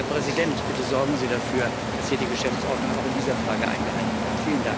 Herr Präsident, bitte sorgen Sie dafür, dass hier die Geschäftsordnung auch in dieser Frage eingehalten wird.